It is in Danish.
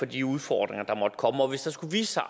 de udfordringer der måtte komme og hvis der skulle vise sig